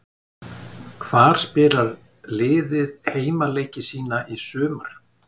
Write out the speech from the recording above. Hvar spilar liðið heimaleiki sína í sumar?